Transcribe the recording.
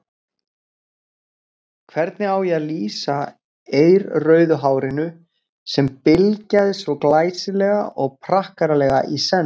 Hvernig á ég að lýsa eirrauðu hárinu sem bylgjaðist svo glæsilega og prakkaralega í senn.